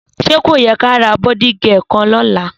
Sẹ kóyẹ kàrá bọ́dììgẹkan lọla?